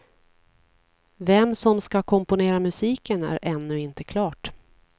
Vem som ska komponera musiken är ännu inte klart.